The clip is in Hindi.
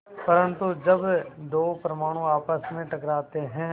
परन्तु जब दो परमाणु आपस में टकराते हैं